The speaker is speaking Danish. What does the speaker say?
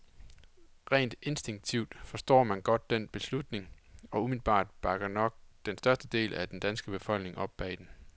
Rent instinktivt forstår man godt den beslutning, og umiddelbart bakker nok den største del af den danske befolkning op bag den.